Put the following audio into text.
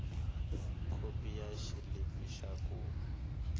khopi ya xilipi xa ku